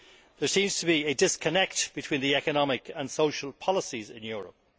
There seems to be a disconnection between the economic and social policies in Europe.